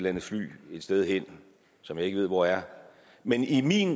andet fly et sted hen som jeg ikke ved hvor er men i min